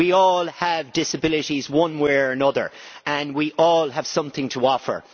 We all have disabilities one way or another and we all have something to offer.